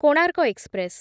Konark express